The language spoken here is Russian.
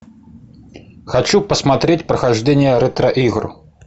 хочу посмотреть прохождение ретро игр